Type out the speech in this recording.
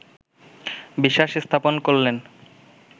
বিশ্বাস স্থাপন করলেন